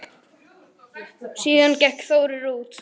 Síðan gekk Þórir út.